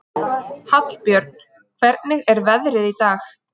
Hallbjörn, hvernig er veðrið í dag?